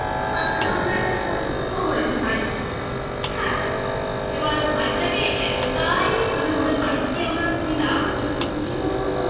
তো তার সাথে আমাদের একটা ছোট tour ও হয়েছে vijack হ্যাঁ এবার vijack -এ এতটাই মানে ওদের বাড়ি গিয়ে আমরা ছিলাম কিন্তু কি বলবো